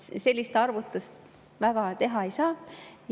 Sellist arvutust väga teha ei saa.